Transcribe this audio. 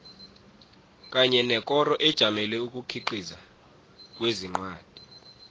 kanye nekoro ejamele ukukhiqiza kwencwadi